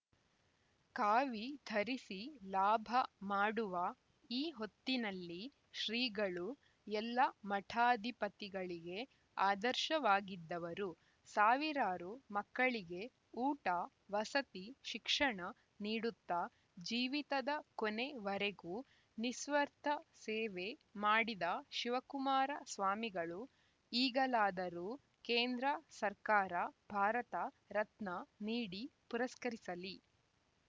ಕಾವಿ ಧರಿಸಿ ಲಾಭ ಮಾಡುವ ಈ ಹೊತ್ತಿನಲ್ಲಿ ಶ್ರೀಗಳು ಎಲ್ಲ ಮಠಾಧಿಪತಿಗಳಿಗೆ ಆದರ್ಶವಾಗಿದ್ದರು ಸಾವಿರಾರು ಮಕ್ಕಳಿಗೆ ಊಟವಸತಿ ಶಿಕ್ಷಣ ನೀಡುತ್ತಾ ಜೀವಿತದ ಕೊನೆ ವರೆಗೂ ನಿಸ್ವರ್ಥ ಸೇವೇ ಮಾಡಿದ ಶಿವಕುಮಾರ ಸ್ವಾಮಿಗಳು ಈಗಲಾದರೂ ಕೇಂದ್ರ ಸರ್ಕಾರ ಭಾರತ ರತ್ನ ನೀಡಿ ಪುರಸ್ಕರಿಸಲಿ